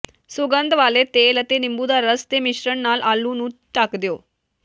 ਸੁਗੰਧ ਵਾਲੇ ਤੇਲ ਅਤੇ ਨਿੰਬੂ ਦਾ ਰਸ ਦੇ ਮਿਸ਼ਰਣ ਨਾਲ ਆਲੂ ਨੂੰ ਢੱਕ ਦਿਓ